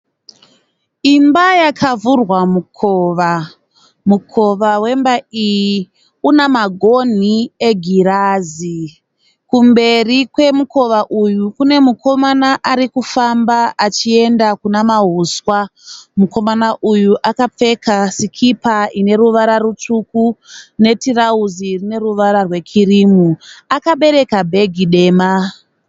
Imba yakavhurwa mukova. Mukova wemba iyi unamagonhi egirazi. Kumberi kwemukova uyu kune mukomana arikufamba achienda Kuna mahuswa. Mukomana uyu akapfeka sikipa ine ruvara rutsvuku netirauzi rine ruvara rwekirimu. Akabereka bhegi dema.